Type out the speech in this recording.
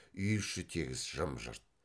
үй іші тегіс жым жырт